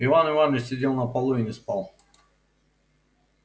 иван иваныч сидел на полу и не спал